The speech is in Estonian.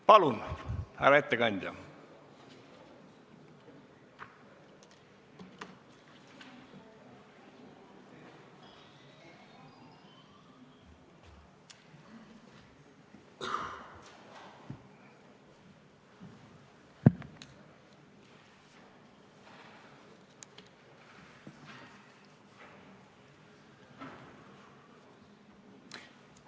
Palun, härra ettekandja!